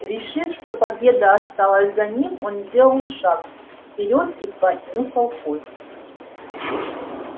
решив что победа осталась за ним он сделал шаг вперёд и понюхал кость